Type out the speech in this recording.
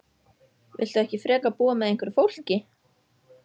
Viltu ekki frekar búa með einhverju fólki?